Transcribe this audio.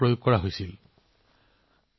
প্ৰাচীন কালত এই কলাত ৰঙা মাটি ব্যৱহাৰ কৰা হৈছিল